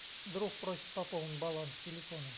друг просит пополнить баланс телефона